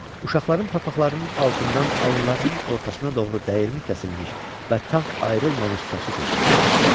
Uşaqların papaqlarının altından alınlarının ortasına doğru dəyirmi kəsilmiş və tağ ayrılmamış saçı tökülürdü.